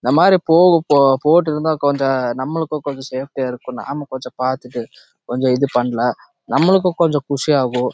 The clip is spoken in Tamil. இந்த மாரி போட்டு இருந்த நாமபாலுக்கும் சாப்பிடேய் ஆஹ் இருக்கும் நம்ப கொஞ்சம் பாத்துட்டு நம்மாளுக்கும் குஷி ஆகும்